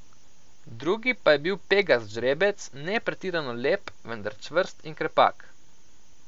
Drugi pa je bil pegast žrebec, ne pretirano lep, vendar čvrst in krepak.